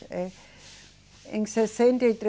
É. Em sessenta e